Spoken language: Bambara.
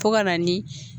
Fo ka na ni